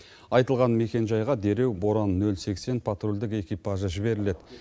айтылған мекенжайға дереу боран нөл сексен патрульдік экипажы жіберіледі